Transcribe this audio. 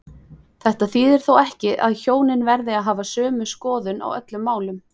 Þetta þýðir þó ekki að hjónin verði að hafa sömu skoðun á öllum málum.